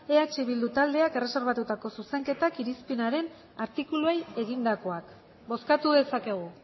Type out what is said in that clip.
eh bildu taldeak erreserbatutako zuzenketak irizpenaren artikuluei egindakoak bozkatu dezakegu